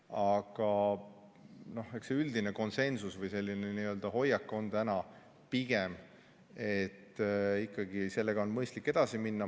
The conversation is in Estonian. Aga eks see üldine hoiak on täna pigem ikkagi see, et selle teemaga on mõistlik edasi minna.